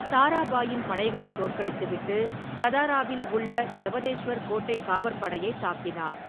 தாராபாயின் படைகளைத் தோற்கடித்துவிட்டு சதாராவில் உள்ள யவதேஷ்வர் கோட்டைக் காவற்படையைத் தாக்கினார்.